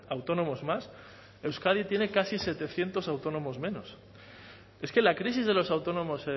autónomos más euskadi tiene casi setecientos autónomos menos es que la crisis de los autónomos